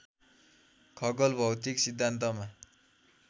खगोल भौतिक सिद्धान्तमा